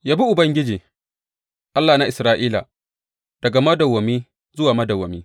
Yabi Ubangiji, Allah na Isra’ila, daga madawwami zuwa madawwami.